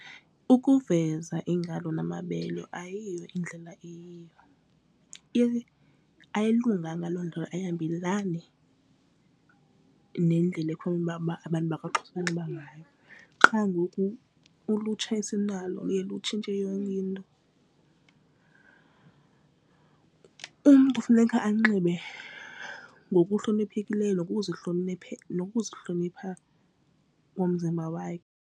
Ukuveza iingalo namabele ayiyo indlela eyiyo ayilunganga loo ndlela ayihambelani nendlela ekufanele uba abantu bakwaXhosa banxiba ngayo qha ngoku ulutsha esinalo luye lutshintshe yonke. Umntu funeka anxibe ngokuhloniphekileyo nokuzihlonipha ngomzimba wakhe.